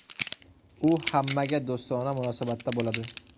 U hammaga do‘stona munosabatda bo‘ladi.